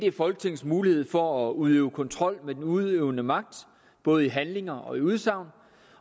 er folketingets mulighed for at udøve kontrol med den udøvende magt både i handlinger og i udsagn